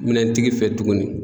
Minɛntigi fɛ tuguni